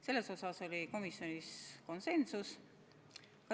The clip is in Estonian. Selles osas oli komisjonis konsensus.